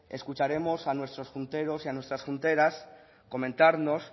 escucharemos a nuestros junteros y a nuestras junteras comentarnos